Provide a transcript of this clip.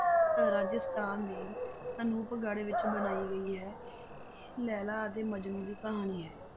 ਰਾਜਸਥਾਨ ਦੇ ਅਨੂਪਗੜ ਵਿੱਚ ਬਣਾਈ ਗਈ ਹੈ, ਇਹ ਲੈਲਾ ਅਤੇ ਮਜਨੂੰ ਦੀ ਕਹਾਣੀ ਹੈ।